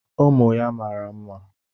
Ụmụ ya mara mma.